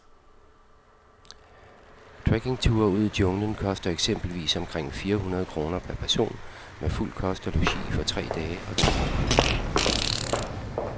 Trekkingture ud i junglen koster eksempelvis omkring fire hundrede kroner per person med fuld kost og logi for tre dage og to overnatninger.